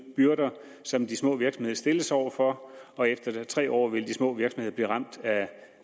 byrder som de små virksomheder stilles over for og efter tre år vil de små virksomheder blive ramt af